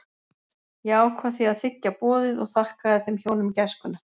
Ég ákvað því að þiggja boðið og þakkaði þeim hjónum gæskuna.